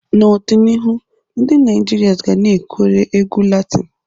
N'ọdịnihu, ndị Naijiria ga-anakwere egwu Latini.